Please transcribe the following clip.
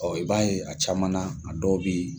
i b'a ye a caman na, a dɔw bɛ yen.